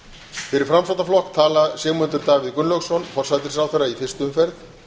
fyrir framsóknarflokk tala sigmundur davíð gunnlaugsson forsætisráðherra í fyrstu umferð